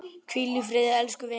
Hvíl í friði elsku vinur!